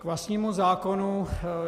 K vlastnímu zákonu.